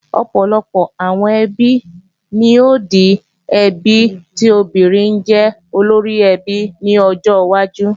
Ọ̀pọ̀lọpọ̀ àwọn ẹbí ni ó di àwọn ẹbí tí obìnrin jẹ́ olóríẹbí ní ọjọ́ wájú